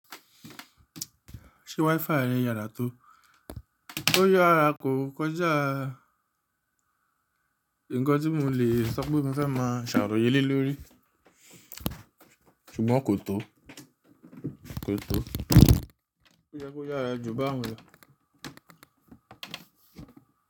Ṣé WiFi rẹ yàrá tó? Ó yára kò kọjá ńǹkan tí mo lè sọ pé mo fẹ́ máa ṣàròyé le lorí ṣùgbọ́n kò tó, kò tó. Ó yẹ kó yára jù báun lọ.